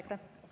Aitäh!